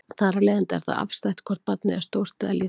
Þar af leiðandi er það afstætt hvort barnið er stórt eða lítið.